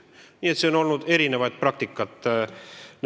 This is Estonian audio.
Nii et nendes asjades on olnud erinevaid praktikaid.